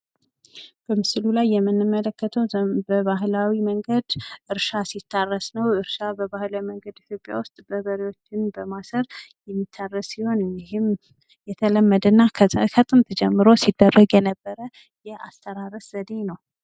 በምስሉ ላይ የምነመለከተው በባህላዊ መንገድ እርሻ ሲታረስ ነው። እርሻ በባህላዊ መንገድ ኢትዮጲያ ውስጥ በሬዎችን በማሰር የሚታረስ ሲሆን ይሄም የተለመደ እና ከጥንት ጀምሮ ሲደረግ የነበረ የአስተራረስ ዘዴ ነው።